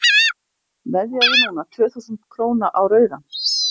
veðjaðu núna tvö þúsund króna á rauðan